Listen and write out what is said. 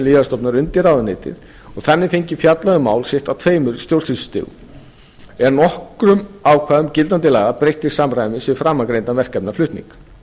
lyfjastofnunar undir ráðuneytið og þannig fengið fjallað um mál sitt á tveimur stjórnsýslustigum er nokkrum ákvæðum gildandi laga breytt til samræmis við framangreindan verkefnaflutning